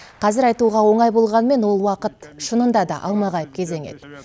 қазір айтуға оңай болғанымен ол уақыт шынында да алмағайып кезең еді